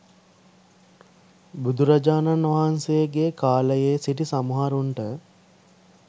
බුදුරජාණන් වහන්සේගේ කාලයේ සිටි සමහරුන්ට